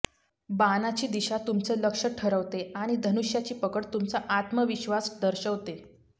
बाणाची दिशा तुमचं लक्ष ठरवते आणि धनुष्याची पकड तुमचा आत्मविश्वास दर्शवते